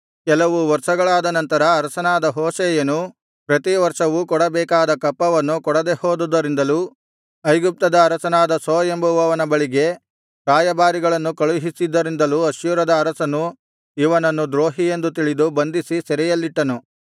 ಕೆಲವು ವರ್ಷಗಳಾದ ನಂತರ ಅರಸನಾದ ಹೋಶೇಯನು ಪ್ರತಿವರ್ಷವೂ ಕೊಡಬೇಕಾದ ಕಪ್ಪವನ್ನು ಕೊಡದೆಹೋದುದರಿಂದಲೂ ಐಗುಪ್ತದ ಅರಸನಾದ ಸೋ ಎಂಬುವವನ ಬಳಿಗೆ ರಾಯಭಾರಿಗಳನ್ನು ಕಳುಹಿಸಿದ್ದರಿಂದಲೂ ಅಶ್ಶೂರದ ಅರಸನು ಇವನನ್ನು ದ್ರೋಹಿಯೆಂದು ತಿಳಿದು ಬಂಧಿಸಿ ಸೆರೆಯಲ್ಲಿಟ್ಟನು